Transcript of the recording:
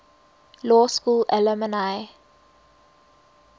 law school alumni